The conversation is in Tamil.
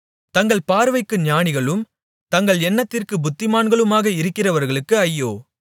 தங்கள் பார்வைக்கு ஞானிகளும் தங்கள் எண்ணத்திற்குப் புத்திமான்களுமாக இருக்கிறவர்களுக்கு ஐயோ